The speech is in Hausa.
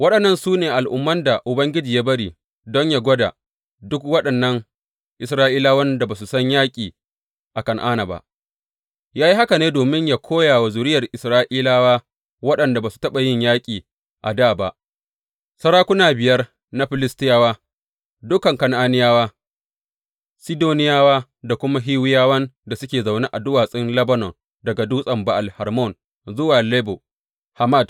Waɗannan su ne al’umman da Ubangiji ya bari don yă gwada duk waɗannan Isra’ilawan da ba su san yaƙi a Kan’ana ba ya yi haka ne domin yă koya wa zuriyar Isra’ilawa waɗanda ba su taɓa yin yaƙi a dā ba, sarakuna biyar na Filistiyawa, dukan Kan’aniyawa, Sidoniyawa, da kuma Hiwiyawan da suke zaune a duwatsun Lebanon daga Dutsen Ba’al Hermon zuwa Lebo Hamat.